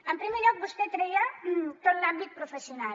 en primer lloc vostè treia tot l’àmbit professional